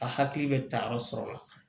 A hakili bɛ tayɔrɔ sɔrɔ